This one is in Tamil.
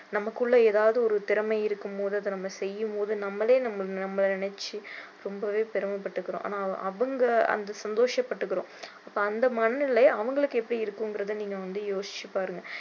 நமக்குள்ள ஏதாவது ஒரு திறமை இருக்கும் போது அதை நம்ம செய்யும் போது நம்மளே நம்மள நினைச்சி ரொம்பவே பெருமைப்பட்டுக்கிறோம் ஆனா அவங்க அந்த சந்தோஷபட்டுக்கிறோம் அப்போ அந்த மனநிலை அவங்களுக்கு எப்படி இருக்குங்கறத நீங்க வந்து யோசிச்சு பாருங்க